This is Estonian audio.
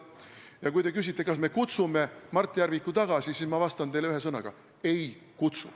Ja kui te küsite, kas me kutsume Mart Järviku tagasi, siis ma vastan teile kahe sõnaga: ei kutsu.